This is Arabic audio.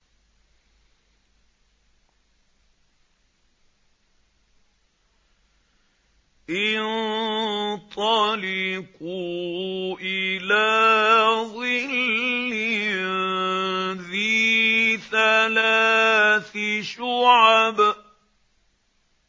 انطَلِقُوا إِلَىٰ ظِلٍّ ذِي ثَلَاثِ شُعَبٍ